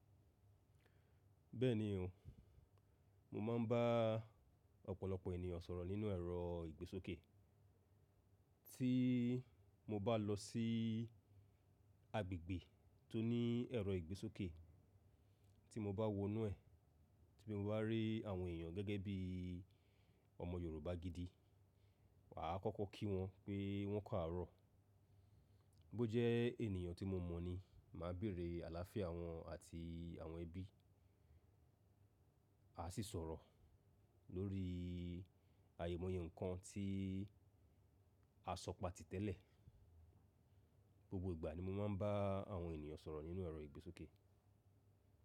Bẹ́ẹ̀ni o, mo máa ń bá ọ̀pọ̀lọpọ̀ ènìyàn sọ̀rọ̀ nínú ẹ̀rọ ìgbésókè. Tí mo bá lọ sí agbègbè tó ní ẹ̀rọ ìgbésókè, tí mo bá wọ inú ẹ̀, tí mo bá rí àwọn èèyàn gẹ́gẹ́ bí ọmọ Yorùbá gidi, wà á kọ́kọ́ kí wọn pé wọ́n kàárọ̀. Bó jẹ́ ènìyàn tí mo mọ̀ ni, màá bèerè àlàáfíà wọn àti àwọn ẹbí. A sì sọ̀rọ̀ lórí ayèmọ̀yẹ́ nǹkan tí a sọ pàtí tẹ́lẹ̀. Gbogbo ìgbà ni mo máa ń bá àwọn ènìyàn sọ̀rọ̀ nínú ẹ̀rọ ìgbésókè.